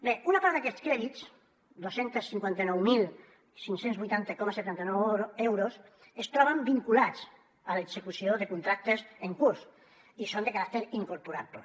bé una part d’aquests crèdits dos cents i cinquanta nou mil cinc cents i vuitanta coma setanta nou euros es troben vinculats a l’execució de contractes en curs i són de caràcter incorporable